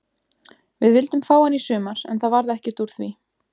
Við vildum fá hann í sumar en það varð ekkert úr því.